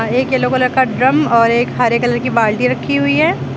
एक yellow colour का drum और एक हरे कलर की बाल्टी रखी हुई है।